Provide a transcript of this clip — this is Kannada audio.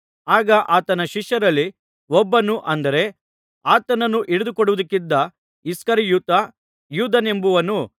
ಆಗ ಆತನ ಶಿಷ್ಯರಲ್ಲಿ ಒಬ್ಬನು ಅಂದರೆ ಆತನನ್ನು ಹಿಡಿದುಕೊಡುವುದಕ್ಕಿದ್ದ ಇಸ್ಕರಿಯೋತ ಯೂದನೆಂಬುವನು